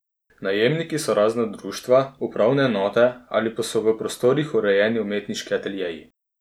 Najemniki so razna društva, upravne enote ali pa so v prostorih urejeni umetniški ateljeji.